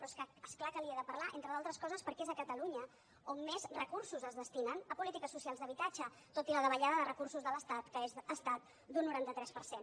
però és que és clar que li n’he de parlar entre altres coses perquè és a catalunya on més recursos es destinen a polítiques socials d’habitatge tot i la davallada de recursos de l’estat que ha estat d’un noranta tres per cent